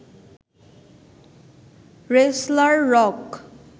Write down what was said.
wrestler rock